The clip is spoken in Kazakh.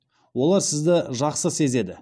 олар сізді жақсы сезеді